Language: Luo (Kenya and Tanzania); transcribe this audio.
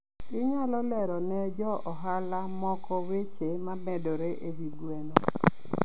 Inyalo lero ne jo ohala moko weche momedore e wi gweno.